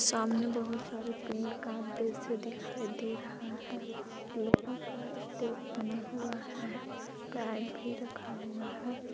सामने बहुत सारे पेड़ का दृश्य दिखाई दे रहा है लोहा का स्टेज बना हुआ है पेड़ भी रखा हुआ है।